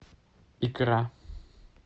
икра